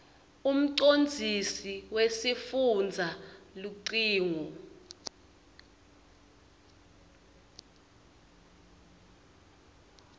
umcondzisi wesifundza lucingo